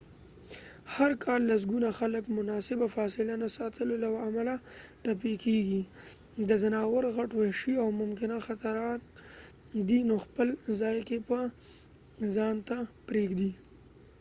هر کال لسګونه خلک مناسبه فاصله نه ساتلو له امله ټپي کیږي دا ځناور غټ وحشي او ممکناً خطرناک دي نو خپل ځای کې یه ځان ته پرېږدئ